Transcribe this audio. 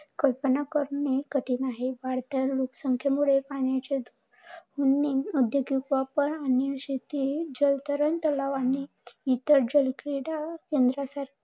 कल्पना करणं ही कठीण आहे. वाढत्या लोकसंखयेमुळे पाण्याचे शेती, जलतरण तलाव आणि इतर जलक्रीडा केंद्र